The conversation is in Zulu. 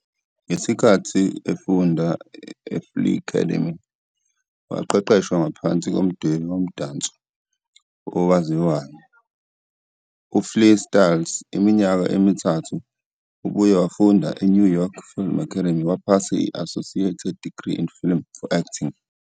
Ngesikhathi efunda eFlii'Cademy, waqeqeshwa ngaphansi komdwebi womdanso owaziwayo, uFliiStylz iminyaka emithathu. Ubuye wafunda eNew York Film Academy waphasa i-Associated Degree in Acting for Film.